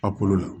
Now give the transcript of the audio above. A kolo la